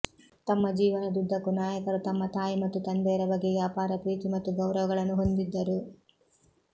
ತಮ್ಮ ಜೀವನದುದ್ದಕ್ಕೂ ನಾಯಕರು ತಮ್ಮ ತಾಯಿ ಮತ್ತು ತಂದೆಯರ ಬಗೆಗೆ ಅಪಾರ ಪ್ರೀತಿ ಮತ್ತು ಗೌರವಗಳನ್ನು ಹೊಂದಿದ್ದರು